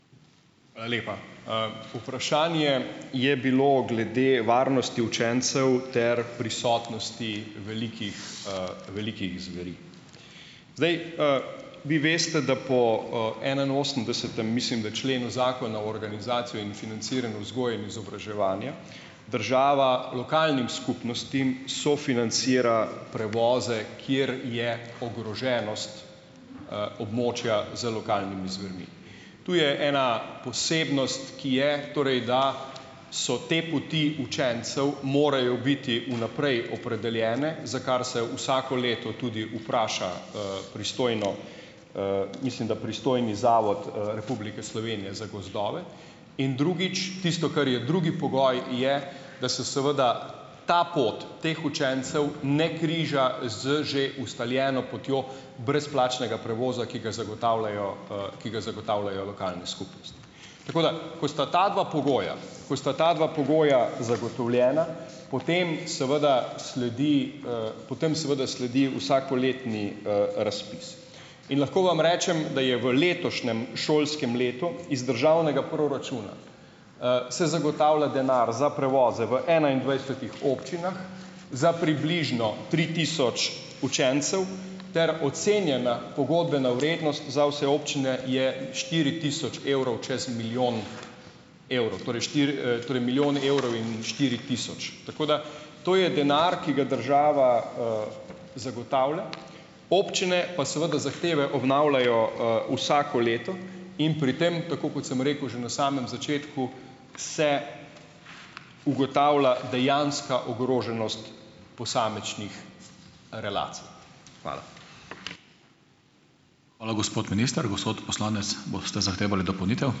Hvala lepa. Vprašanje je bilo glede varnosti učencev ter prisotnosti velikih, velikih zveri. Zdaj, vi veste, da po, enainosemdesetem, mislim, da členu Zakona o organizaciji in financiranju vzgoje in izobraževanja, država lokalnim skupnostim sofinancira prevoze, kjer je ogroženost, območja z lokalnimi zvermi. To je ena posebnost, ki je, torej, da so te poti učencev, morajo biti vnaprej opredeljene, za kar se vsako leto tudi pristojno mislim, da pristojni Zavod, Republike Slovenije za gozdove in drugič, tisto, kar je drugi pogoj, je da se seveda ta pot teh učencev ne križa z že ustaljeno potjo brezplačnega prevoza, ki ga zagotavljajo, ki ga zagotavljajo lokalne skupnosti. Tako da ko sta ta dva pogoja, ko sta ta dva pogoja zagotovljena, potem seveda sledi potem seveda sledi vsakoletni, razpis. In lahko vam rečem, da je v letošnjem letu iz državnega proračuna šolskem, se zagotavlja denar za prevoze v enaindvajsetih občinah za približno tri tisoč učencev ter ocenjena pogodbena vrednost za vse občine je štiri tisoč evrov čas milijon evrov. Torej torej milijon evrov in štiri tisoč. Tako da to je denar, ki ga država zagotavlja, občine pa seveda zahteve obnavljajo, vsako leto in pri tem, tako kot sem rekel že na samem začetku, se ugotavlja dejanska ogroženost posamičnih relacij. Hvala.